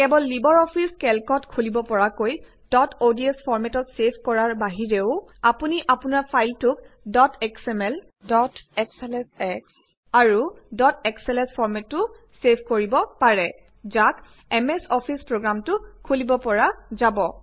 কেৱল LibreOffice কেল্কতহে খুলিব পৰাকৈ ডট অডছ ফৰ্মেটত ছেভ কৰাৰ উপৰিও আপুনি আপোনাৰ ফাইলটোক ডট এসএমএল ডট এছএলএছএস আৰু ডট এসএলএছ ফৰ্মেটতো ছেভ কৰিব পাৰে যাক এমএছ অফিছ প্ৰগ্ৰামতো খুলিব পৰা যাব